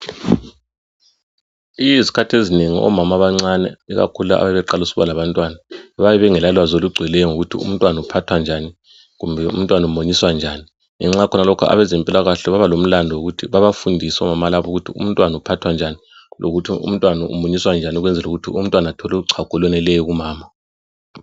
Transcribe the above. Izikhathi ezinengi omama abancane ikakhulu abaqalisa ukuba labantwana bayabe bengela lwazi olugcweleyo ngokuthi umntwana uphathwa njani kumbe umntwana umunyiswa njani. Ngenxa yalokho abezempilakahle babafundise omama laba ukuthi umntwana uphathwa njani lokuthi umunyiswa njani ukuze athole uchago olweneleyo kumama.